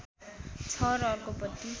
छ र अर्को पटि